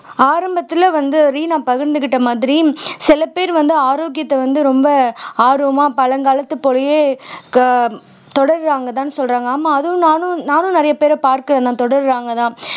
ஆரம்பத்துல வந்து ரீனா பகிர்ந்துக்கிட்ட மாதிரி சில பேர் வந்து ஆரோக்கியத்தை வந்து ரொம்ப ஆர்வமா பழங்காலத்து போலயே க தொடர்றாங்கதான்னு சொல்றாங்க ஆமா அதுவும் நானும் நானும் நிறைய பேரை பார்க்க தொடரறாங்கதான்